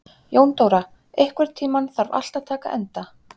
Jóndóra, einhvern tímann þarf allt að taka enda.